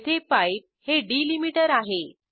येथे पाइप हे डिलिमीटर आहे